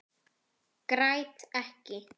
Græt ekki.